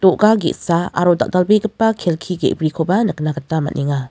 ge·sa aro dal·dalbegipa kelki ge·brikoba nikna gita man·enga.